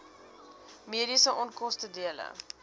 mediese onkoste dele